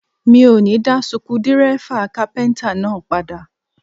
Mi ò ní dá suku dírẹ́fà kápíntà náà padà